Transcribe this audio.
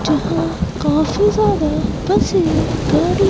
जहां काफी ज्यादा बसे गाड़ी--